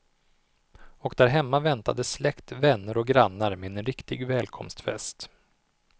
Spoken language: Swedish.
Och där hemma väntade släkt, vänner och grannar med en riktig välkomstfest.